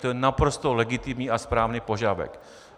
To je naprosto legitimní a správný požadavek.